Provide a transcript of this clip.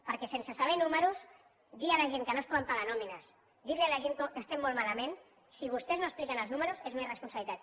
perquè sense saber números dir a la gent que no es poden pagar nòmines dir a la gent que estem molt malament si vostès no expliquen els números és una irresponsabilitat